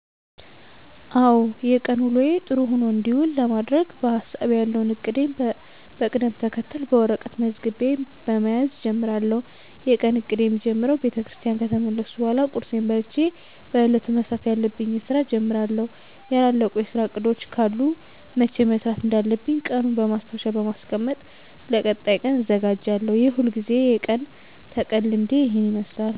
አዎ የቀን ውሎየ ጥሩ ሆኖ እንዲውል ለማድረግ በሀሳቤ ያለዉን እቅዴን በቅደም ተከተል በወረቀት መዝግቤ በመያዝ እጀምራለሁ። የቀን እቅዴ ሚጀምረው ቤተክርስቲያን ከተመለስኩ በኃላ ቁርሴን በልቸ በእለቱ መስራት ያለብኝን ስራ እጀምራለሁ ያላለቁ የስራ እቅዶች ካሉ መቸ መስራት እንዳለብኝ ቀኑን በማስታወሻ በማስቀመጥ ለቀጣይ ቀን እዘጋጃለሁ። የሁልግዜ የቀን ተቀን ልምዴ ይህን ይመስላል።